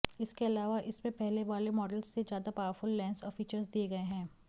इसके अलावा इसमें पहले वाले मॉडल्स से ज्यादा पावरफुल लैंस और फीचर्स दिए गए हैं